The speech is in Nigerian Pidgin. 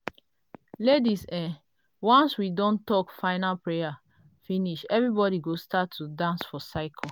laidis[um]once we don talk final prayer finish everybody go start to dance for cycle.